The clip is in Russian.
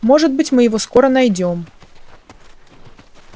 может быть мы его скоро найдём